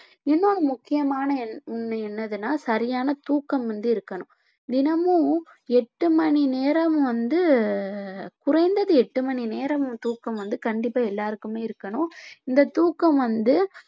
இன்னொரு முக்கியமான என்~ என்னதுன்னா சரியான தூக்கம் வந்து இருக்கணும் தினமும் எட்டு மணி நேரம் வந்து குறைந்தது எட்டு மணி நேரம் தூக்கம் வந்து கண்டிப்பா எல்லாருக்குமே இருக்கணும் இந்த தூக்கம் வந்து